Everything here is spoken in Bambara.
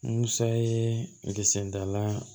Musa ye kisɛ dala